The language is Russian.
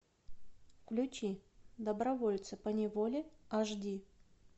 включи добровольцы поневоле аш ди